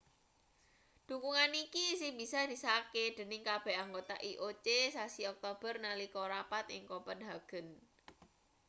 dhukungan iki isih bisa disahke dening kabeh anggota ioc sasi oktober nalika rapat ning kopenhagen